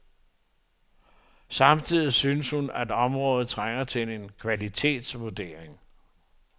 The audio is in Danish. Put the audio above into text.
Samtidig synes hun, at området trænger til en kvalitetsvurdering.